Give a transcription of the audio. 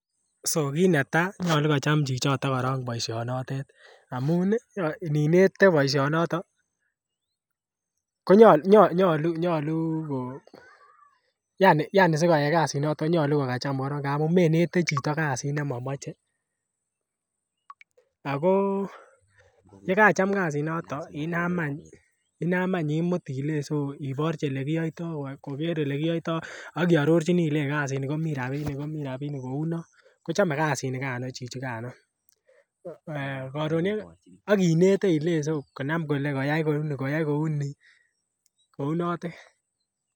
So kit netaa nyoluu kocham korong chito boisionotet amun ini nete boisionoton ko nyoluu ko yaani si koyay kazii noton konyoluu ko kacham korong, ngamun menete chito kazit ne momoche ako ye kacham kazii noton inam any imut ilei so iborjo ole kiyoito koger ole kiyoito ak iororji ilei kazini komii rabinik komii rabinik kouu non kochome kazi nigano chichi gano eeh koron ye ak inete konam kole koyay kouu Nii kounotet